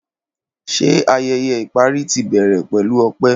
Ṣe ayẹyẹ ipari ti ibẹrẹ pẹlu ọpẹ.